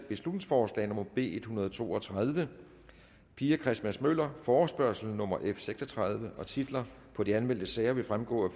beslutningsforslag nummer b en hundrede og to og tredive pia christmas møller forespørgsel nummer f seks og tredive titler på de anmeldte sager vil fremgå af